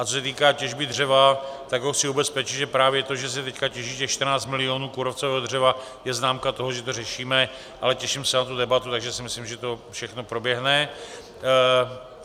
A co se týká těžby dřeva, tak ho chci ubezpečit, že právě to, že se teď těží těch 14 milionů kůrovcového dřeva, je známka toho, že to řešíme, ale těším se na tu debatu, takže si myslím, že to všechno proběhne.